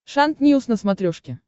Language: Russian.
шант ньюс на смотрешке